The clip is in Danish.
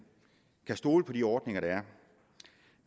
kan stole på de ordninger der er